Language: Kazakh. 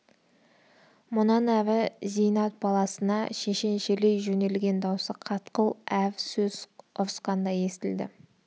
мұнан әрі зейнат баласына шешеншелей жөнелген даусы қатқыл әр сөзі ұрысқандай естіледі